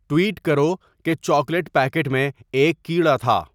tweet کرو کہ chocolate packet میں ایک کیڑا تھا